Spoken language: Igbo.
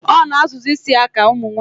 O na azụ zi ísì ya ka umunwanyi